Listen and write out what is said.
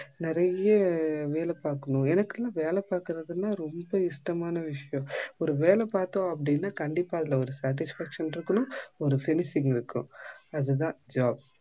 நிறைய வேலை பாக்கணும் எனக்குலாம் வேலை பாக்குறது நா ரொம்ப இஷ்டமான விஷியம் ஒரு வேல பத்தோம் அப்படின்னா கண்டிப்பா அதுல ஒரு satisfaction இருக்கனும் ஒரு finishing இருக்கனும் அது தான் job